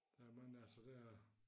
Der er mange altså der